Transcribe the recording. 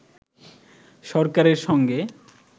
সরকারের সঙ্গে